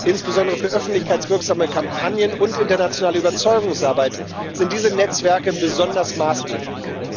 Insbesondere für öffentlichkeitswirksame Kampagnen und internationale Überzeugungsarbeit sind diese Netzwerke maßgeblich.